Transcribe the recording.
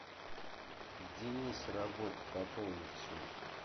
денис работа пополнить счет